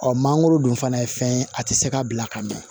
Ɔ mangoro dun fana ye fɛn ye a tɛ se ka bila ka mɛn